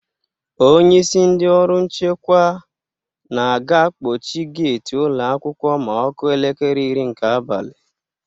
Onyeisi ndị ọrụ nchekwa na a ga-akpọchi geti ụlọ akwụkwọ ma ọ kụọ elekere iri nke abalị.